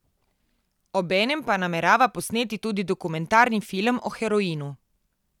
Obenem pa namerava posneti tudi dokumentarni film o heroinu.